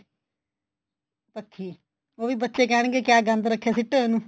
ਪੱਖੀ ਉਹ ਵੀ ਬੱਚੇ ਕਹਿਣਗੇ ਕਿਆ ਗੰਦ ਰੱਖਿਆ ਸਿੱਟੋ ਇਹਨੂੰ